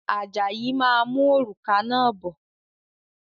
Ajayi máa mú òrùka náà bọ̀